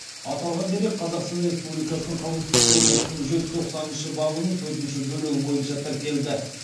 аталған дерек қазақстан республикасының қылмыстық кодексінің жүз тоқсаныншы бабының төртінші бөлігі бойынша тіркелді